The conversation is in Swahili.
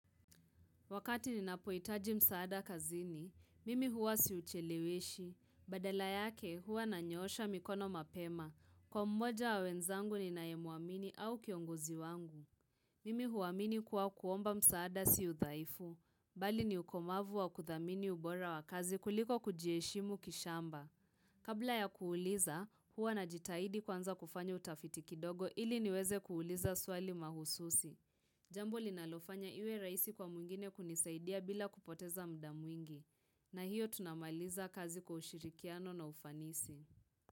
Wakati ninapoitaji msaada kazini, mimi huwa siuchelewishi. Badala yake huwa nanyoosha mikono mapema. Kwa mmoja wa wenzangu ninayemuamini au kiongozi wangu. Mimi huamini kuwa kuomba msaada si udhaifu. Bali ni ukomavu wa kuthamini ubora wa kazi kuliko kujiheshimu kishamba. Kabla ya kuuliza, huwa na jitaidi kwanza kufanya utafiti kidogo ili niweze kuuliza swali mahususi. Jambo linalofanya iwe rahisi kwa mwingine kunisaidia bila kupoteza mda mwingi, na hiyo tunamaliza kazi kwa ushirikiano na ufanisi.